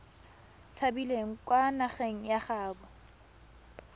tshabileng kwa nageng ya gaabo